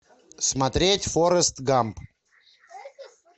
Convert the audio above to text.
смотреть форест гамп